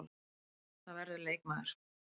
Það verður leikmaður.